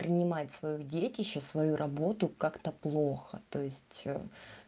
принимать своё детище свою работу как-то плохо то есть